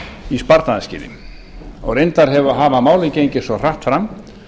í sparnaðarskyni og reyndar hafa málin gengið svo hratt fram